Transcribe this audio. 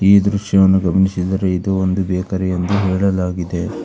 ಈ ದೃಶ್ಯವನ್ನು ಗಮನಿಸಿದರೆ ಇದು ಒಂದು ಬೇಕರಿ ಎಂದು ಹೇಳಲಾಗಿದೆ.